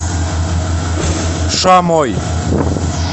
шамой